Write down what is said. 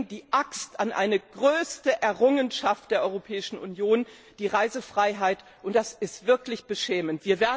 Sie legen die Axt an eine der größten Errungenschaften der Europäischen Union, die Reisefreiheit, und das ist wirklich beschämend.